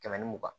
Kɛmɛ ni mugan